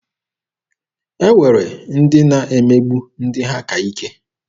E nwere ndị na-emegbu ndị ha ka ike.